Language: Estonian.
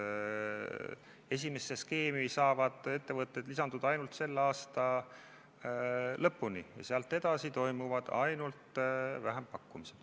Esimesse skeemi saavad ettevõtted lisanduda ainult selle aasta lõpuni ja sealt edasi toimuvad ainult vähempakkumised.